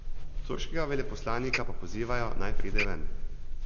Turškega veleposlanika pa pozivajo, naj pride ven.